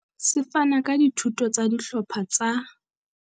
Se fana ka dithuto tsa dihlopha tsa.